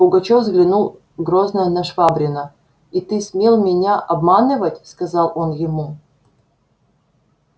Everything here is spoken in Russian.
пугачёв взглянул грозно на швабрина и ты смел меня обманывать сказал он ему